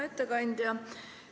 Hea ettekandja!